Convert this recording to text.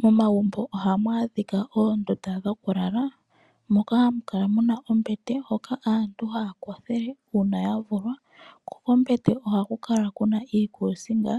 Momagumbo ohamu adhika oondunda dhokulala moka hamu kala mu na ombete hoka aantu haya kothele uuna ya vulwa, ko kombete ohaku kala ku na iikuusinga